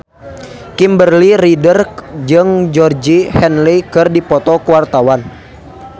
Kimberly Ryder jeung Georgie Henley keur dipoto ku wartawan